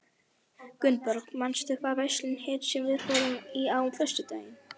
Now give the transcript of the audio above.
Gunnborg, manstu hvað verslunin hét sem við fórum í á föstudaginn?